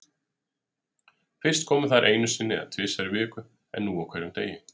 Fyrst komu þær einu sinni eða tvisvar í viku en nú á hverjum degi.